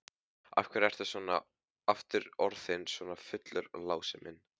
Af hverju ertu aftur orðinn svona fullur, Lási minn?